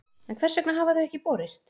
En hvers vegna hafa þau ekki borist?